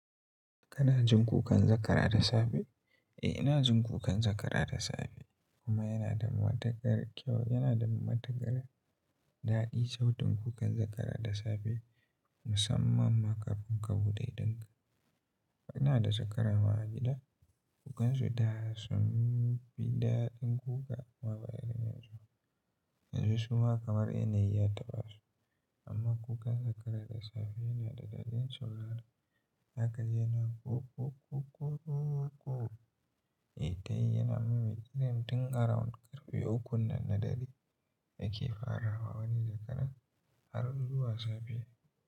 Kana jin kukan zakara da safe? Eh, ina jin kukan zakara da safe kuma yana da matukar kyau. Yana da matakar daɗi sautin kukan zakara da safe musamman ma. Kafin kabuɗe idan ka, ina da zakara ma a gida, kukansu da sun fi daɗin kuka ma bare yanzu. Yanzu suma kamar yanayi ya taɓa su amma kukan zakara da safe yana da daɗin sauraro. Haka yana kukuku eh dai yana mumi idan tun around karfe ukun nan na dare yake farawa wani zakara har zuwa safe.